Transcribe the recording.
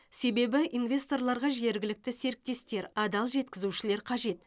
себебі инвесторларға жергілікті серіктестер адал жеткізушілер қажет